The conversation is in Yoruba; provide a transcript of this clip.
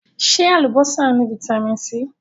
Ṣé Alubọ́sá ni Vitamin C?